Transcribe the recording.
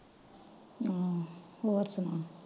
ਹਮ ਹੋਰ ਸੁਣਾ।